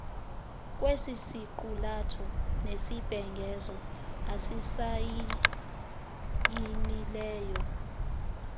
kwesisiqulatho nesibhengezo asisayinileyo